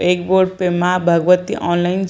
एक बोर्ड पे माँ भगवती ऑनलाइन --